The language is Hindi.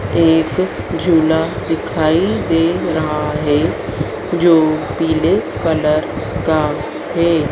एक झूला दिखाई दे रहा है जो पीले कलर का है।